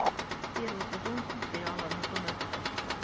первый сезон сериала анатомия страсти